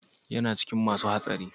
Yana cikin masun hatsari?